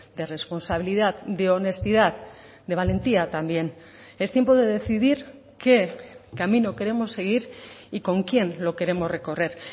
de responsabilidad de honestidad de valentía también es tiempo de decidir qué camino queremos seguir y con quién lo queremos recorrer